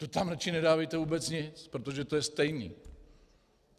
To tam raději nedávejte vůbec nic, protože to je stejné.